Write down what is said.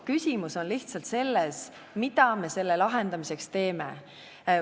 Küsimus on lihtsalt selles, mida me selle lahendamiseks teeme.